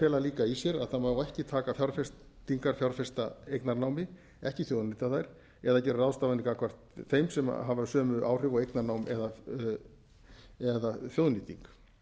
fela líka í sér að ekki megi taka fjárfestingar fjárfesta eignarnámi ekki þjóðnýta þær eða gera ráðstafanir gagnvart þeim sem hafa sömu áhrif og eignarnám eða þjóðnýting